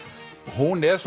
hún er